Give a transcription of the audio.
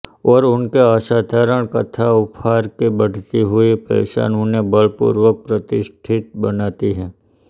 और उनके असाधारण कथा उपहार की बढ़ती हुई पहचान उन्हें बल पूर्वक प्रतिष्ठित बनाती है